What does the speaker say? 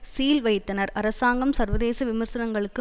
seal வைத்தனர் அரசாங்கம் சர்வதேச விமர்சனங்களுக்கு